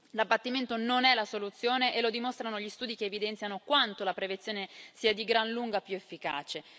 L'abbattimento non è la soluzione, e lo dimostrano gli studi che evidenziano quanto la prevenzione sia di gran lunga più efficace.